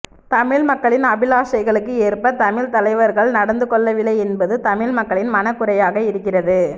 தமிழ் மக்களின் அபிலாஷைகளுக்கு ஏற்ப தமிழ் தலைவர்கள் நடந்து கொள்ளவில்லை என்பது தமிழ் மக்களின் மனக்குறையாக இருக்கிறது